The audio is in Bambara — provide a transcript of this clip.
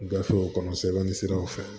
Gafew kɔnɔ sɛbɛnni siraw fɛ